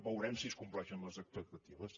veurem si es compleixen les expectatives